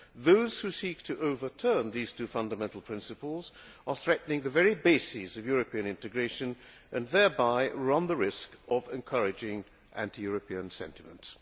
Those who seek to overturn these two fundamental principles are threatening the very bases of European integration and thereby run the risk of encouraging anti European sentiments.